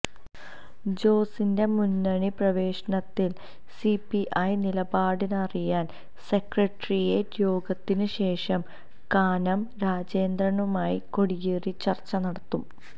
ജോസിന്റെ മുന്നണി പ്രവേശനത്തില് സി പി ഐ നിലപാടറിയാന് സെക്രട്ടേറിയേറ്റ് യോഗത്തിന് ശേഷം കാനം രാജേന്ദ്രനുമായി കോടിയേരി ചര്ച്ച നടത്തും